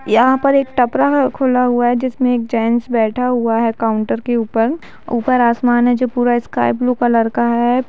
यहाँ पर एक टपरा खुला हुआ है जिसमें एक जैंट्स बैठा हुआ है काउन्टर के ऊपर ऊपर आसमान है जो पूरा स्काइ ब्लू कलर का है।